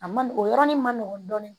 A man nɔgɔn o yɔrɔnin man nɔgɔn dɔɔnin